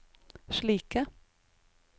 slike